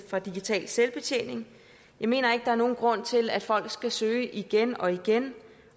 fra digital selvbetjening jeg mener ikke der er nogen grund til at folk skal søge igen og igen